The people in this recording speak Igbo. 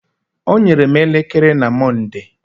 O nyere m elekere na Monde.